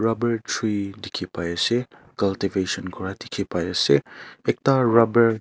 yat pra tree dekhi pai ase kal teh koisan kora dekhi pai ase ekta grapar.